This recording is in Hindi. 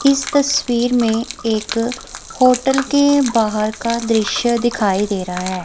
इस तस्वीर में एक होटल के बाहर का दृश्य दिखाई दे रहा है।